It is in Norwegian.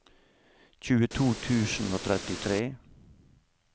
tjueto tusen og trettitre